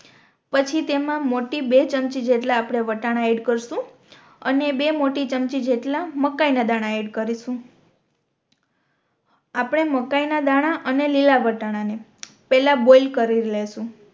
પછી તેમા મોટી બે ચમચી જેટલા આપણે વટાણા એડ કરશુ અને બે મોટી ચમચી જેટલા મકાઇ ના દાણા એડ કરીશુ આપણે મકાઇ ના દાણા અને લીલા વટાણા ને પેહલા બોઈલ કરી લેશુ